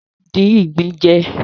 Wọ́n lè dín ìgbín jẹ.